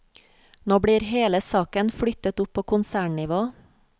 Nå blir hele saken flyttet opp på konsernnivå.